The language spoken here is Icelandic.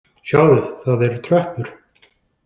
Sjáðu, það eru tröppur